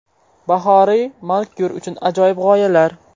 Bahoriy manikyur uchun ajoyib g‘oyalar .